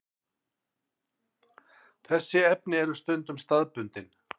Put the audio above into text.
Þessi efni eru stundum staðbundin.